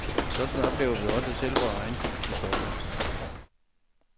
Sådan oplever vi også selv vores egen tids historie.